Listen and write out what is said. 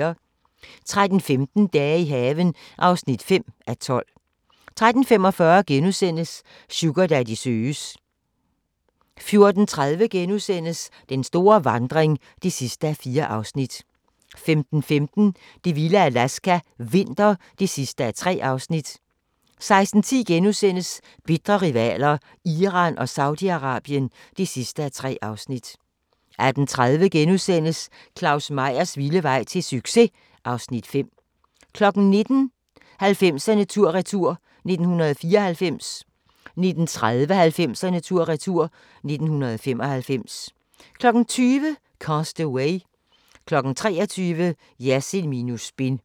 13:15: Dage i haven (5:12) 13:45: Sugardaddy søges * 14:30: Den store vandring (4:4)* 15:15: Det vilde Alaska – vinter (3:3) 16:10: Bitre rivaler: Iran og Saudi-Arabien (3:3)* 18:30: Claus Meyers vilde vej til succes! (Afs. 5)* 19:00: 90'erne tur-retur: 1994 19:30: 90'erne tur-retur: 1995 20:00: Cast Away 23:00: Jersild minus spin